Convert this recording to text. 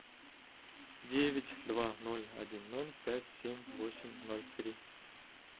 девять два ноль один ноль пять семь восемь ноль три